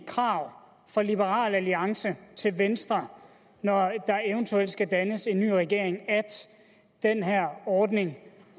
krav fra liberal alliance til venstre når der eventuelt skal dannes en ny regering at den her ordning